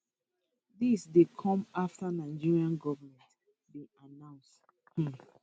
dis dey come afta nigerian goment bin announce um